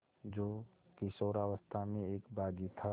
जो किशोरावस्था में एक बाग़ी था